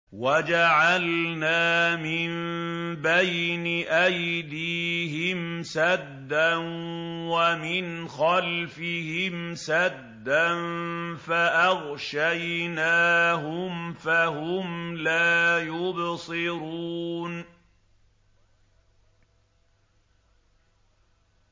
وَجَعَلْنَا مِن بَيْنِ أَيْدِيهِمْ سَدًّا وَمِنْ خَلْفِهِمْ سَدًّا فَأَغْشَيْنَاهُمْ فَهُمْ لَا يُبْصِرُونَ